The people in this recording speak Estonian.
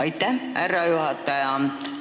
Aitäh, härra juhataja!